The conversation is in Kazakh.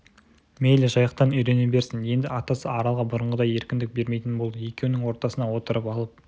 мейлі жайықтан үйрене берсін енді атасы аралға бұрынғыдай еркіндік бермейтін болды екеуінің ортасына отырып алып